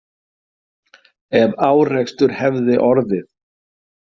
Ef árekstur hefði orðið.